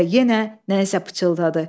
Və yenə nə isə pıçıldadı.